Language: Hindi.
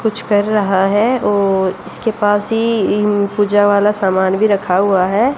कुछ कर रहा है और इसके पास ही इन पूजा वाला सामान भी रखा हुआ है।